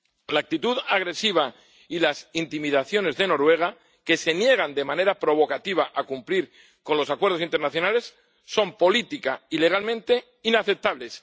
La actitud agresiva y las intimidaciones de Noruega, que se niega de manera provocativa a cumplir los acuerdos internacionales, son política y legalmente inaceptables.